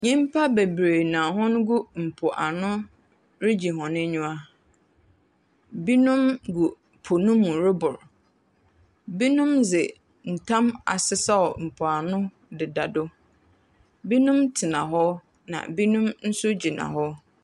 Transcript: Nyimpa bebree na hɔ gu mpoani regye hɔn enyiwa. Binom gu po no mu roboro. Binom dze ntam asesɛw mpoano deda do. Binom tena hɔ, na binom nso gyina hɔ.